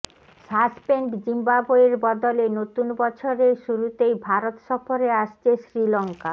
suspend জিম্বাবোয়ের বদলে নতুন বছরের শুরুতেই ভারত সফরে আসছে শ্রীলঙ্কা